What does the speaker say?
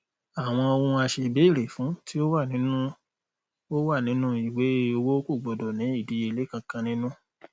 àwọn ohun aṣèbéèrè fún tí ó wà nínu ó wà nínu ìwé owó kò gbọdọ ní ìdíyelé kankan nínú